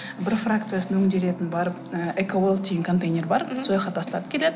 бір фракциясын өңделетін барып ы экоуэлтинг контейнер бар тастап келеді